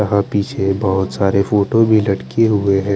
वहा पीछे बोहोत सारे फोटो भी लटके हुए है।